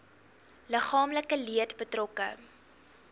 liggaamlike leed betrokke